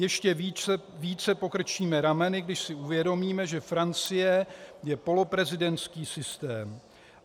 Ještě více pokrčíme rameny, když si uvědomíme, že Francie je poloprezidentský systém.